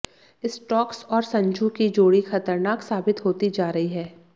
Stokes और संजू की जोड़ी खतरनाक साबित होती जा रही है